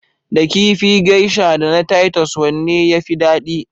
Da kifi Geisha da na Titus, wanne ya fi dadi?